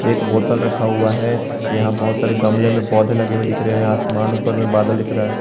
एक बोतल रखा हुआ है यहां बहोत सारे गमले में पौधे लगे हुए दिख रहे हैं आसमान ऊपर में बादल दिख रहा है।